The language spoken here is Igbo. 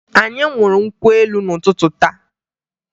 Anyị ṅụrụ nkwụ elu n'ụtụtụ taa